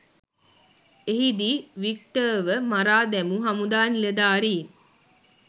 එහිදී වික්ටර්ව මරා දැමූ හමුදා නිලධාරීන්